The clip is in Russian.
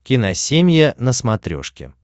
киносемья на смотрешке